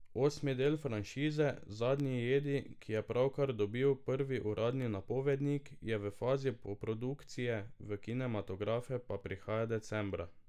Osmi del franšize, Zadnji jedi, ki je pravkar dobil prvi uradni napovednik, je v fazi poprodukcije, v kinematografe pa prihaja decembra.